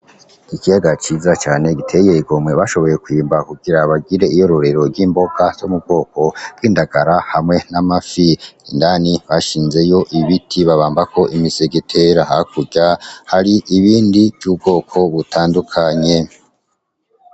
Ikiyaga ciza cane giteye igomwe bashoboye kwimba kugira bagire iyororero ry’imboga zo mu bwoko bw’indagara hamwe n’amafi , indani bashinzeyo ibiti babambako imisegetera hakurya hari ibindi vy’ubwoko butandukanye .